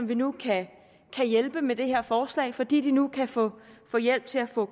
vi nu kan hjælpe med det her forslag fordi de nu kan få hjælp til at få